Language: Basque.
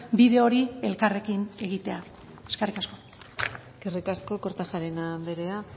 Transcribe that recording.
bide hori elkarrekin egitea eskerrik asko eskerrik asko kortajarena anderea